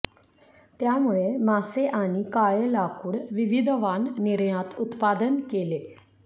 त्यामुळे मासे आणि काळे लाकुड विविध वाण निर्यात उत्पादन केले